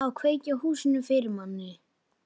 Á að kveikja í húsinu fyrir manni!